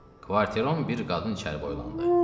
Kvarteron bir qadın içəri boylandı.